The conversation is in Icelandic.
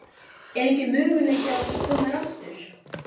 Er enginn möguleiki á að þú komir aftur?